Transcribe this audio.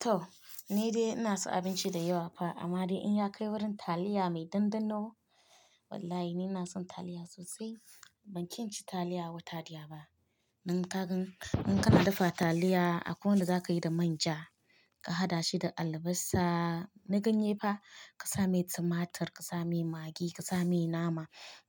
To! Ni dai ina son abinci da yawa fa amma dai in ya kai wurin taliya mai ɗanɗano, wallahi ni na son taliya sosai. Ban ki inci taliya wata daya ba. Dan kagan in kana dafa taliya akwai wanda za ka yi da manja ka haɗa shi da albasa. Na ganye fa ka sa mai tumatur, ka sa mai magi, ka sa mai nama.